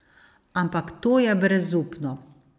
Ampak to je brezupno.